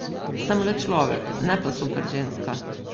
Sem le človek, ne pa super ženska.